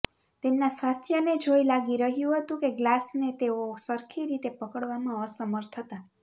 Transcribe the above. તેમના સ્વાસ્થ્યને જોઈ લાગી રહ્યું હતું કે ગ્લાસને તેઓ સરખી રીતે પકડવામાં અસમર્થ હતા